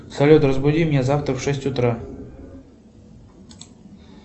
салют разбуди меня завтра в шесть утра